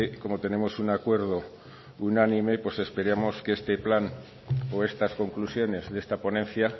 como tenemos un acuerdo unánime pues esperemos que este plan o estas conclusiones de esta ponencia